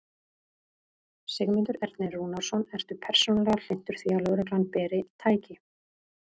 Sigmundur Ernir Rúnarsson: Ertu persónulega hlynntur því að lögreglan beri. tæki?